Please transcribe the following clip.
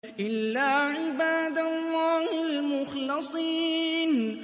إِلَّا عِبَادَ اللَّهِ الْمُخْلَصِينَ